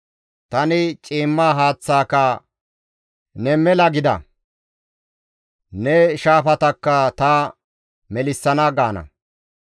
Tani ciimma haaththaaka, ‹Ne mela gida! Ne shaafatakka ta melissana› gaana.